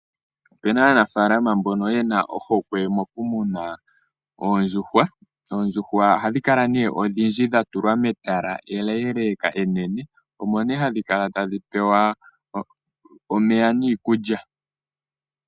Opuna aanafalama mbono yena ohokwe yokumuna oondjuhwa. Oodjuhwa ohadhi kala nee odhindji dhatulwa metala eleleeka. Omo nee hadhi kala tadhi pewa omeya niikulya.